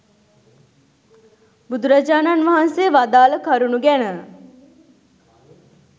බුදුරජාණන් වහන්සේ වදාළ කරුණු ගැන.